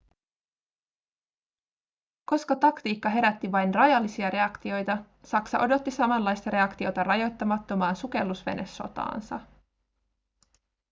koska taktiikka herätti vain rajallisia reaktioita saksa odotti samanlaista reaktiota rajoittamattomaan sukellusvenesotaansa